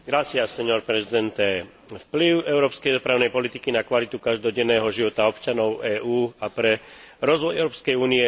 Vplyv európskej dopravnej politiky na kvalitu každodenného života občanov EÚ a na rozvoj Európskej únie a jej regiónov je nesporný.